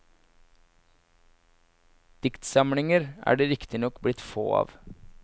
Diktsamlinger er det riktignok blitt få av.